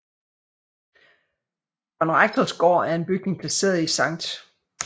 Konrektors Gård er en bygning placeret i Sct